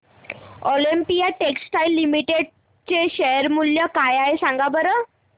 Olympia Textiles Limited चे share मूल्य काय आहे सांगा बरं